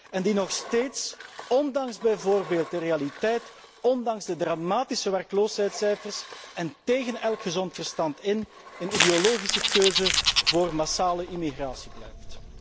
En die nog steeds, ondanks bijvoorbeeld de realiteit, ondanks de dramatische werkloosheidscijfers en tegen elk gezond verstand in een ideologische keuze voor massale immigratie blijft.